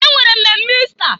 E nwere mmemme Ista.